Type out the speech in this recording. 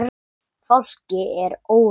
Fólki er órótt.